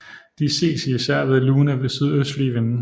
De ses især ved lune sydøstlige vinde